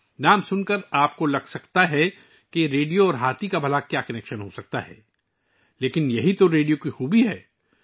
نام سن کر آپ سوچ سکتے ہیں کہ ریڈیو اور ہاتھی کے درمیان کیا تعلق ہوسکتا ہے! لیکن یہی تو ریڈیو کی خوب صورتی ہے